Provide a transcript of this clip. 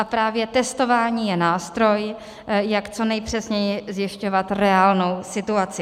A právě testování je nástroj, jak co nejpřesněji zjišťovat reálnou situaci.